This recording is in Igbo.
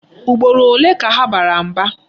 Ugboro ole ka ha bara mba?